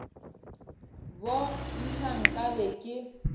bo ntšha nka be ke